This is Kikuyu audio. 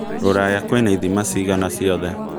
rũraya kwĩna ĩthima cigana cĩothe